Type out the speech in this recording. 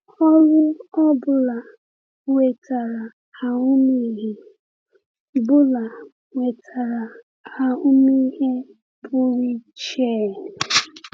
Ọrụ ọ bụla wetara ahụmịhe bụla wetara ahụmịhe pụrụ iche.